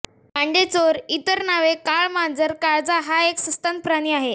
कांडेचोर इतर नावे काळमांजर काळजा हा एक सस्तन प्राणी आहे